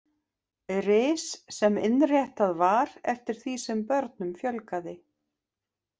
Ris sem innréttað var eftir því sem börnum fjölgaði.